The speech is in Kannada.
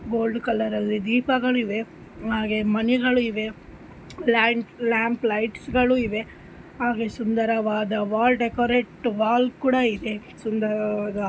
ಗೋಲ್ಡ್ ಕಲರ್ ಅಲ್ಲಿ ದೀಪಗಳಿವೆ ಹಾಗೆ ಮಣಿಗಳಿವೆ ಲ್ಯಾಂಡ್ ಲ್ಯಾಂಪ್ ಲೈಟ್ಸ್ ಗಳು ಇವೆ. ಹಾಗೆ ಸುಂದರವಾದ ವಾಲ್ ಡೆಕೋರೇಟ್ ವಾಲ್ ಕೂಡ ಇದೆ. ಸುಂದರವಾದ --